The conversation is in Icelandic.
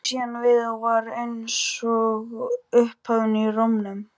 Bætti síðan við og var eins og upphafin í rómnum